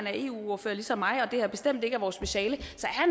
er eu ordfører ligesom mig og det her bestemt ikke er vores speciale